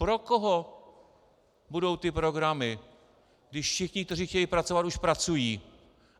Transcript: Pro koho budou ty programy, když všichni, kteří chtějí pracovat, už pracují?